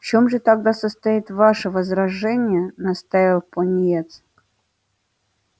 в чем же тогда состоит ваше возражение настаивал пониетс